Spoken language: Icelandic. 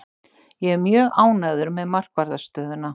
Ég er mjög ánægður með markvarðarstöðuna.